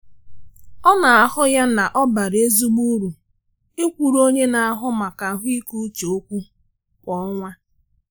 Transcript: Ọ na ahụ ya na obara ezigbo uru ikwuru onye na ahụ maka ahụike uche okwu kwa ọnwa.